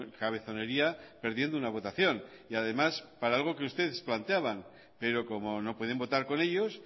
cabezonería perdiendo una votación y además para algo que ustedes planteaban pero como no pueden votar con ellos